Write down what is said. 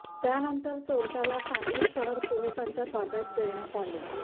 त्यानंतर चोरट्याला सांगली शहर पोलिसांच्या ताब्यात देण्यात आले